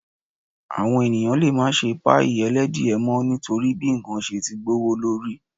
Àwọn èèyàn lè má ṣe páìì ẹlẹ́dìẹ mọ́ nítorí bí ǹkan ṣe ti gbówó lórí